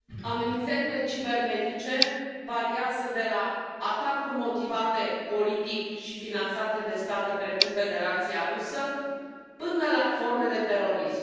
Domnule președinte, amenințările cibernetice variază de la atacuri motivate politic și finanțate de state precum Federația Rusă până la forme de terorism.